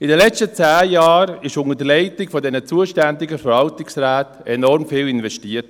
In den letzten zehn Jahren wurde unter der Leitung der zuständigen Verwaltungsräte enorm viel investiert.